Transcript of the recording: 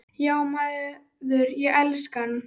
Já maður, ég elska hann.